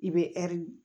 I bɛ ɛri